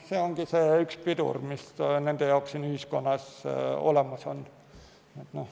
See ongi üks pidureid, mis ühiskonnas on.